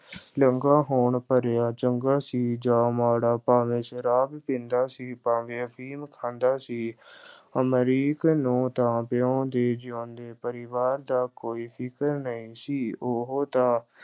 ਹੋਣ ਭਰਿਆ, ਚੰਗਾ ਸੀ ਜਾਂ ਮਾੜਾ ਭਾਵੇਂ ਸ਼ਰਾਬ ਪੀਂਦਾ ਸੀ, ਭਾਵੇਂ ਅਫ਼ੀਮ ਖਾਂਦਾ ਸੀ ਅਮਰੀਕ ਨੂੰ ਤਾਂ ਪਿਉ ਦੇ ਜਿਊਂਦੇ ਪਰਿਵਾਰ ਦਾ ਕੋਈ ਫ਼ਿਕਰ ਨਹੀਂ ਸੀ, ਉਹ ਤਾਂ